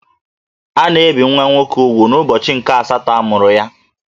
A na-ebì nwa nwoke úgwù n'ubọchi nke asatọ a mụrụ ya